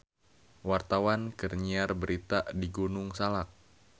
Wartawan keur nyiar berita di Gunung Salak